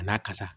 A n'a ka sa